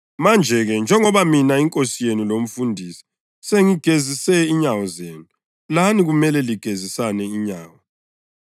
Manje-ke njengoba mina, iNkosi yenu loMfundisi, sengigezise inyawo zenu, lani kumele ligezisane inyawo.